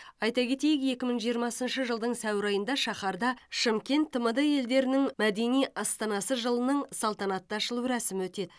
айта кетейік екі мың жиырмасыншы жылдың сәуір айында шаһарда шымкент тмд елдерінің мәдени астанасы жылының салтанатты ашылу рәсімі өтеді